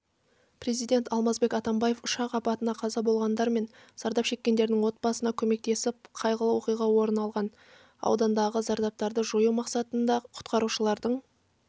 президент алмазбек атамбаев ұшақ апатынан қаза болғандар мен зардап шеккендердің отбасына көмектесіп қайғылы оқиға орын алған аудандағы зардаптарды жою мақсатында құтқарушылардың